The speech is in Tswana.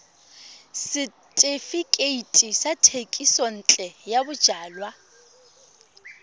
setefikeiti sa thekisontle ya bojalwa